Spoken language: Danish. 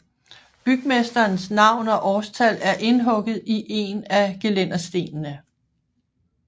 Bygmesterens navn og årstal er indhugget i en af gelænderstenene